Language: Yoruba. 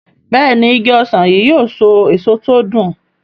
Béèni Ìgi ọsán yi yóò so èso tí o dùn.